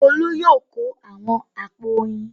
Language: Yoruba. Olú yóò kó àwọn àpò oyin.